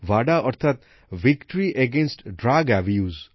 ভাডা অর্থাৎ victory against drug abuse